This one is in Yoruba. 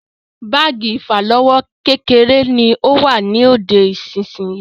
Báàgì ìfàlọ́wọ́ kékeré ni ó wà lóde nísisìyìí.